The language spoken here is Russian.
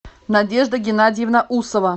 надежда геннадьевна усова